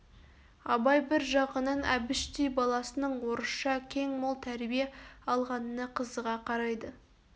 абай бір жағынан әбіштей баласының орысша кең мол тәрбие алғанына қызыға қарайды